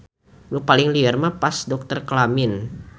Nu paling lieur mah pas dokter kelamin.